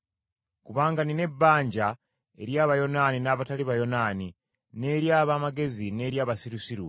Kubanga nnina ebbanja eri Abayonaani n’abatali Bayonaani, n’eri ab’amagezi n’eri abasirusiru,